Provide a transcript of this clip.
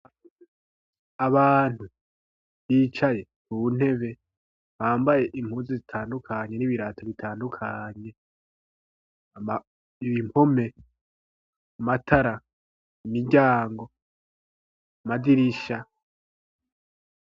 Abantu bicaye ku ntebe bambaye impuzu zitandukanye n'ibirato bitandukanye, ibi mpome, amatara, imiryango, amadirisha.